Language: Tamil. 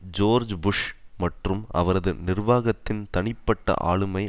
ஜோர்ஜ் புஷ் மற்றும் அவரது நிர்வாகத்தின் தனிப்பட்ட ஆளுமை